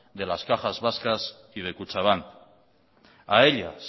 de las cajas vascas y de kutxabank a ellas